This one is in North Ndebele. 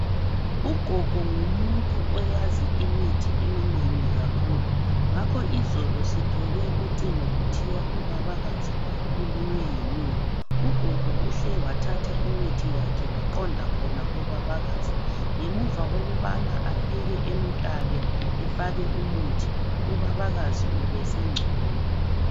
Ugogo ngumuntu oyazi imithi eminengi kakhulu. Ngakho izolo sithole ucingo kuthiwa ubabakazi ulunywe yinyoka. Ugogo uhle wathatha imithi yakhe waqonda khona kobabakazi. Ngemuva kokubana afike emutabe efake umithi, ubabakazi ubesengcono.